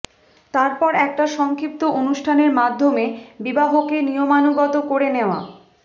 তারপর একটা সংক্ষিপ্ত অনুষ্ঠানের মাধ্যমে বিবাহকে নিয়মানুগত করে নেওয়া